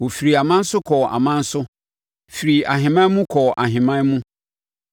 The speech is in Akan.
Wɔfirii aman so kɔɔ aman so; firii ahemman mu kɔɔ ahemman mu.